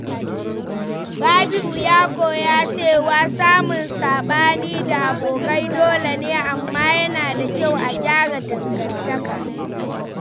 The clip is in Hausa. Rabi’u ya koya cewa samun sabani da abokai dolene, amma yana da kyau a gyara dangantaka.